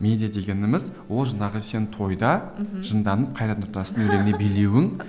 медиа дегеніміз ол жаңағы сен тойда мхм жынданып қайрат нұртастың билеуің